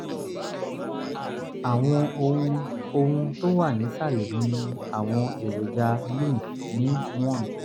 àwọn ohun ohun tó wà nísàlẹ̀ mi ni àwọn èròjà lymph ní one